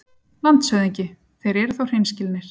LANDSHÖFÐINGI: Þeir eru þó hreinskilnir.